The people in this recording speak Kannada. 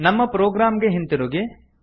ನಮ್ಮ ಪ್ರೊಗ್ರಾಮ್ ಗೆ ಹಿಂತಿರುಗಿ